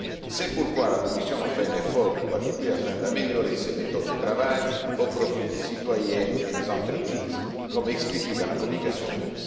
C'est pourquoi la Commission a fait un effort tout particulier afin d'améliorer ses méthodes de travail, au profit des citoyens et des entreprises, comme expliqué dans la communication de